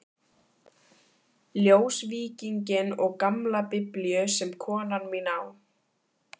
Ljósvíkinginn og gamla Biblíu sem konan mín á.